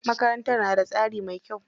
Makarantar na da tsari mai kyau.